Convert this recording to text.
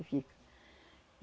Que fica.